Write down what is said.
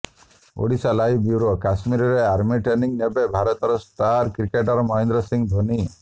Odisha live bureau କଶ୍ମୀରରେ army training ନେବେ ଭାରତର ଷ୍ଟାର କ୍ରିକେଟର ମହେନ୍ଦ୍ର ସିଂହ ଧୋନି